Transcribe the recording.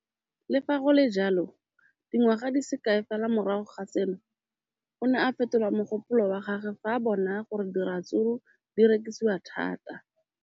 Le fa go le jalo, dingwaga di se kae fela morago ga seno, o ne a fetola mogopolo wa gagwe fa a bona gore diratsuru di rekisiwa thata.